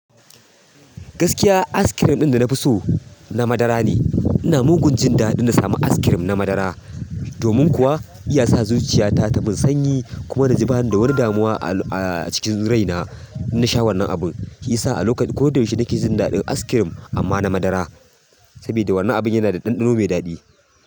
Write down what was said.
Gaskiya, askirim ɗin da na fi so na madara ne. Ina mugun jin daɗin na sami askirim na madara, domin kuwa iya sa zuciyata ta min sanyi kuma na ji bani da wani damuwa a cikin rai na idan na sha wannan abun. Shi yasa sa a lokaci ko da yaushe nake jin daɗin askirim amma na madara, saboda wannan abin yana da ɗanɗano mai daɗi.